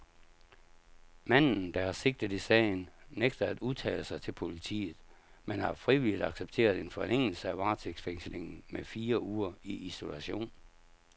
Manden, der er sigtet i sagen, nægter at udtale sig til politiet, men har frivilligt accepteret en forlængelse af varetægtsfængslingen med fire uger i isolation.